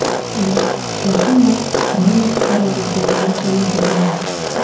U yaqinda Ukraina fuqaroligidan mahrum etilgan edi.